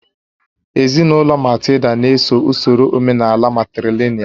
Ezinụlọ Matilda na-eso usoro omenaala matrìlị̀nị́al